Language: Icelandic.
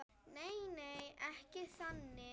Nei, ekki þannig.